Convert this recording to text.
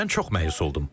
Mən çox məyus oldum.